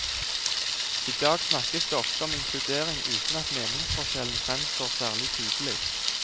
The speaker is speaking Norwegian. I dag snakkes det oftere om inkludering, uten at meningsforskjellen fremstår særlig tydelig.